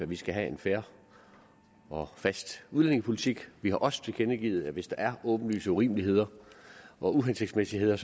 vi skal have en fair og fast udlændingepolitik vi har også tilkendegivet at hvis der er åbenlyse urimeligheder og uhensigtsmæssigheder